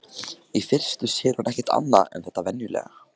Í fyrstu sér hún ekkert annað en þetta venjulega.